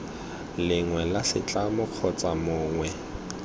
lengwe la setlamo kgotsa mongwe